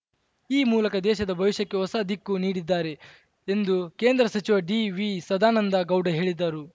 ಈ ಮೂಲಕ ದೇಶದ ಭವಿಷ್ಯಕ್ಕೆ ಹೊಸ ದಿಕ್ಕು ನೀಡಿದ್ದಾರೆ ಎಂದು ಕೇಂದ್ರ ಸಚಿವ ಡಿವಿಸದಾನಂದ ಗೌಡ ಹೇಳಿದರು